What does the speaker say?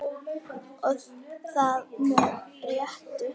Og það með réttu.